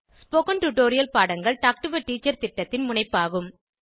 spoken Tutorial பாடங்கள் Talk to a Teacher திட்டத்தின் முனைப்பாகும்